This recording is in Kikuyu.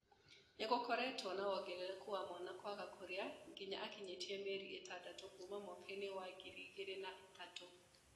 Nĩgũkoretwo na wongerereku wa mwana kwaga kùrìa nginya akinyie mĩeri ĩtandatũ kuuma mwaka-inĩ wa 2003